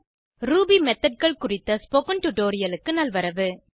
Ruby Methodகள் குறித்த spoken டுடோரியலுக்கு நல்வரவு